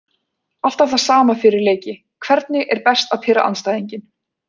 Alltaf það sama fyrir leiki Hvernig er best að pirra andstæðinginn?